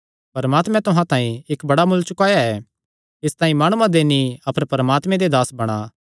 परमात्मे तुहां तांई इक्क बड्डा मुल्ल चुकाया ऐ इसतांई माणुआं दे नीं अपर परमात्मे दे दास बणा